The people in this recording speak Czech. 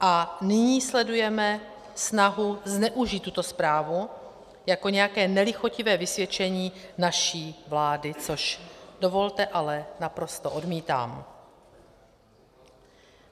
A nyní sledujeme snahu zneužít tuto zprávu jako nějaké nelichotivé vysvědčení naší vlády, což dovolte, ale naprosto odmítám.